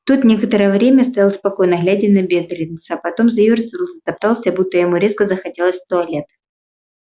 тот некоторое время стоял спокойно глядя на бедренца потом заёрзал затоптался будто ему резко захотелось в туалет